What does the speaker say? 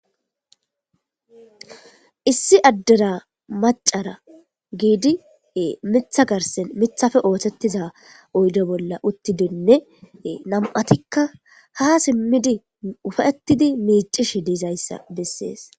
issi addera macara giidi mitha garsen mithafe ootettiza oydo bolla uttidonne nam7atikka ha simmidi ufettidi miicish diizayssa bessees